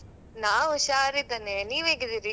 ನಾ ಉಷಾರಿದ್ದೇನೆ. ನೀವ್ ಹೇಗಿದ್ದೀರಿ?